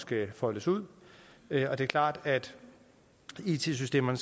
blive foldet ud det er klart at it systemerne